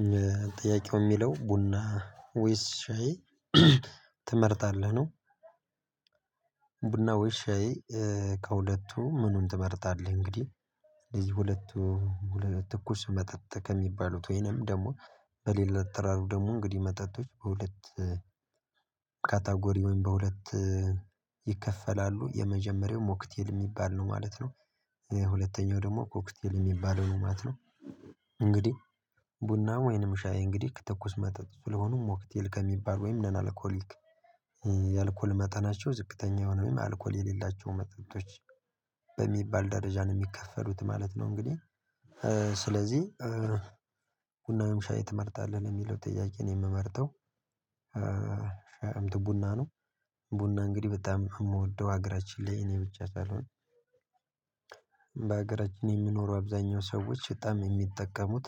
አዎ ጥያቄው የሚለው ቡና ወይስ ሻይ ትመርጣለህ ነው? ቡና ወይስ ሻይ ከሁለቱ ምኑን ትመርጣለህ? እንግዲህ እነዚህ ሁለቱ ትኩስ መጠጥ ከሚባሉት ወይንም ደግሞ በሌላ ተራም ደግሞ እንግዲህ መጠጦች በሁለት ካታጎሪ ወይም በሁለት ይከፈላሉ የመጀመሪያው ሞክቴል የሚባል ነው ማለት ነው። ሁለተኛው ደግሞ ኮክቴል የሚባለው ነው ማለት ነው። እንግዲህ ቡና ወይንም ሻይ እንግዲህ ትኩስ መጠጥ ስለሆኑ ሞክቴል ከሚባል ወይም ነን አልኮሊክ የአልኮል መጠናቸው ዝቅተኛ የሆነ ወይም አልኮል የሌላቸው መጠቶች በሚባል ደረጃ ነው የሚከፈሉት ማለት ነው። እንግዲህ ስለዚህ ቡና ወይም ሻይ ትመርጣለህ ለሚለው ጥያቄ እኔ የምመርጠው ቡና ነው። ቡና እንግዲህ በጣም የምወደው ሀገራችን ላይ እኔ ብቻ ሳልሆን በሀገራችን የሚኖሩ አብዛኛው ሰዎች በጣም የሚጠቀሙት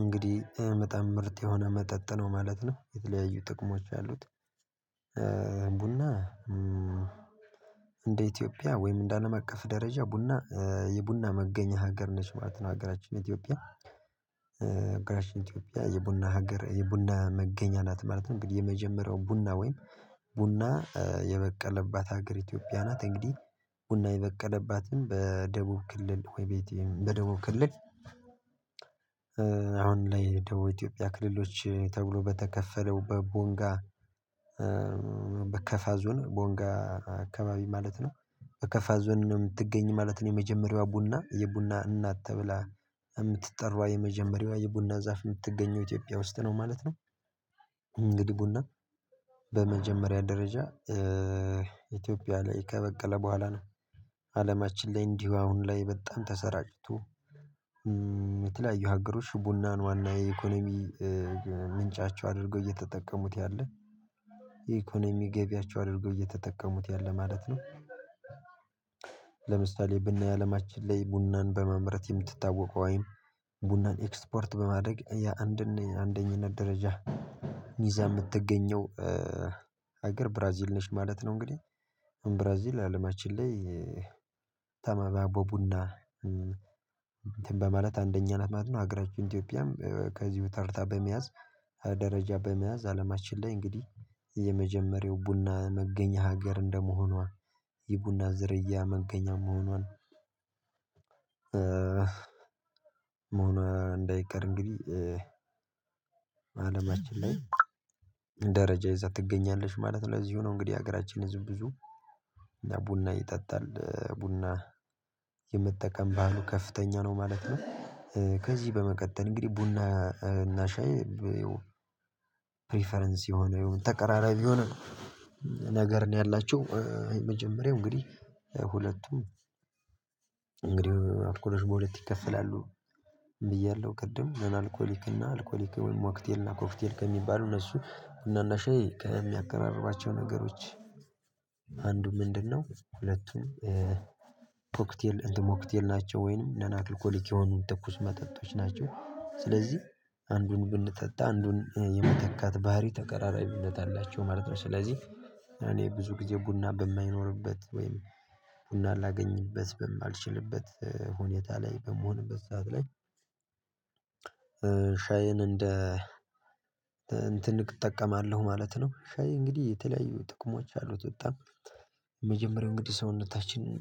እንግዲህ በጣም ምርት የሆነ መጠጥ ነው ማለት ነው የተለያዩ ጥቅሞች አሉት። ቡና እንደ ኢትዮጵያ ወይም እንደ አለም አቀፍ ደረጃ ቡና የቡና መገኛ ሀገር ነች ማለት ነው ሀገራችን ኢትዮጵያ። ሀገራችን ኢትዮጵያ የቡና ሀገር የቡና መገኛ ናት ማለት ነው። እንግዲህ የመጀመሪያው ቡና ወይም ቡና የበቀለባት ሀገር ኢትዮጵያ ናት እንግዲህ ቡና የበቀለባትን በደቡብ ክልል በደቡብ ክልል አሁን ላይ ደቡብ ኢትዮጵያ ክልሎች ተብሎ በተከፈለው በቦንጋ በከፋ ዞን ቦንጋ አካባቢ ማለት ነው። በከፋ ዞን ነው ምትገኝ ማለት ነው የመጀመሪያዋ ቡና የቡና እናት ተብላ የምትጠራዋ የመጀመሪያዋ የቡና ዛፍ የምትገኘው ኢትዮጵያ ውስጥ ነው ማለት ነው። እንግዲህ ቡና ደረጃ ኢትዮጵያ ላይ ከበቀለ በኋላ ነው አለማችን ላይ እንዲሁ አሁን ላይ በጣም ተሰራጭቶ የተለያዩ ሀገሮች ቡናን ዋና የኢኮኖሚ ምንጫቸው አድርገው እየተጠቀሙት ያለ የኢኮኖሚ ገቢያቸው አድርገው እየተጠቀሙት ያለ ማለት ነው። ለምሳሌ ብናይ አለማችን ላይ ቡናን በማመምረት የምትታወቀው ወይም ቡናን ኤክስፖርት በማድረግ የአንደኝነት ደረጃ ይዛ የምትገኘው ሀገር ብራዚል ነሽ ማለት ነው። እንግዲህ ብራዚል አለማችን ላይ ቀዳሚ ቦቡና እንትን በማለት አንደኛ ማለት ነው ሀገራችን ኢትዬኘያም ከዚሁ ተርታ በመያዝ ደረጃ በመያዝ አለማችን ላይ እንግዲህ የመጀመሪያው ቡና መገኛ ሀገር እንደመሆኗ የቡና ዝርያ መገኛ መሆኗን እንዳይቀር እንግዲህ አለማችን ላይ ደረጃ ይዛ ትገኛለሽ ማለት ነው። ለዚሁ ነው እንግዲህ የሀገራችን ህዝብ ብዙው ቡና ይጠጣል ቡና የመጠቀም ባህሉ ከፍተኛ ነው ማለት ነው። ከዚህ በመቀጠል እንግዲህ ቡና እና ሻይ ፕሪፈረንስ የሆነ ተቀራራቢ የሆነ ነገር ነው ያላቸው። የመጀመሪያው እንግዲህ ሁለቱም እንግዲህ አልኮሎች በሁለት ይከፈላሉ ብያለሁ ቅድም ነን አልኮሊክ እና አልኮሊክ ወይም ሞክቴልና ኮክቴል ከሚባሉ እነሱ ቡናና ሻይ ከሚያቀራርባቸው ነገሮች አንዱ ምንድነው? ሁለቱም ኮክቴል እንትን ሞክቴል ናቸው ወይንም ነን አልኮሊክ የሆኑ ትኩስ መጠጦች ናቸው ስለዚህ አንዱን ብንጠጣ አንዱን የመተካት ባህሪ ተቀራራቢነት አላቸው ማለት ነው። ስለዚህ እኔ ብዙ ጊዜ ቡና በማይኖርበት ወይም ቡናን ላገኝበት በማልችልበት ሁኔታ ላይ በምሆንበት ሰዓት ላይ ሻይን እንደ እንትን እጠቀማለሁ ማለት ነው። ሻይ እንግዲህ የተለያዩ ጥቅሞች አሉት በጣም የመጀመሪያው እንግዲህ ሰውነታችንን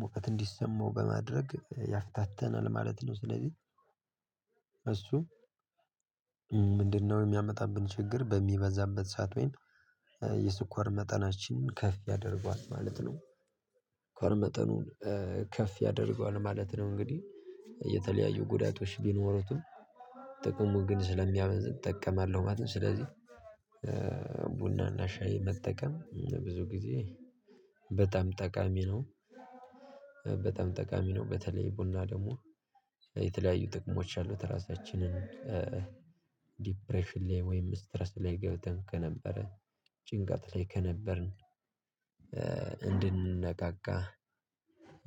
ሙቀት እንዲሰማው በማድረግ ያፍታታናል ማለት ነው ስለዚህ እሱ ምንድነው የሚያመጣብን ችግር በሚበዛበት ሰዓት ወይም የስኳር መጠናችንን ከፍ ያደርጓል ማለት ነው። እስኳር መጠኑን ከፍ ያደርጓል ማለት ነው እንግዲህ የተለያዩ ጉዳቶች ቢኖሩትም ጥቅሙ ግን ስለሚያመዝን እጠቀማለሁ ማለት ነው። ስለዚህ ሻይ መጠቀም ብዙ ጊዜ በጣም ጠቃሚ ነው። በጣም ጠቃሚ ነው በተለይ ቡና ደግሞ የተለያዩ ጥቅሞች አሉት እራሳችንን ዲፕሬሽን ላይ ወይም ስትረስ ላይ ገብተን ከነበረ ጭንቀት ላይ ከነበርን እንድንነቃቃ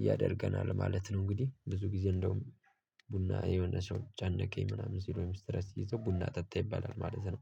ያደርገናል ማለት ነው። እንግዲህ ብዙ ጊዜ እንደውም ቡና የሆነ ሰው ጨነቀኝ ምናምን ሲሉ ወይም እስትረስ ሲይዘው ቡና ጠጣ ይባላል ማለት ነው።